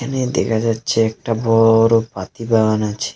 এখানে দেখা যাচ্ছে একটা বড় পাতিবাগান আছে।